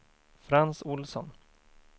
Frans Ohlsson